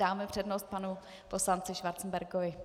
Dáme přednost panu poslanci Schwarzenbergovi.